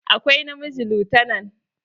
Akwai na miji lutanan.